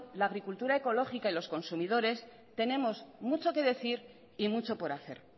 la agricultura ecológica y los consumidores tenemos mucho que decir y mucho por hacer